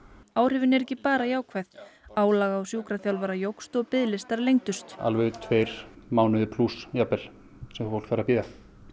áhrifin eru ekki bara jákvæð álag á sjúkraþjálfara jókst og biðlistar lengdust alveg tveir mánuðir plús jafnvel sem fólk þarf að bíða